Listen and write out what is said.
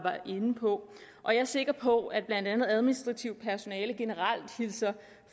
inde på og jeg er sikker på at blandt andet administrativt personale generelt hilser